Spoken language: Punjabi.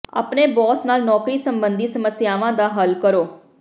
ਆਪਣੇ ਬੌਸ ਨਾਲ ਨੌਕਰੀ ਸੰਬੰਧੀ ਸਮੱਸਿਆਵਾਂ ਦਾ ਹੱਲ ਕਰੋ